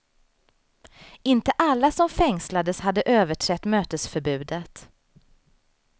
Inte alla som fängslades hade överträtt mötesförbudet.